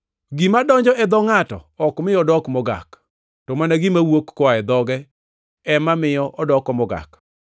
Gima donjo e dho ngʼato ok mi odok mogak, to mana gima wuok koa e dhoge ema miyo odoko mogak.”